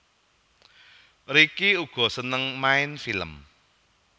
Ricky uga seneng main film